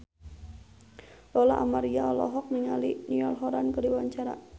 Lola Amaria olohok ningali Niall Horran keur diwawancara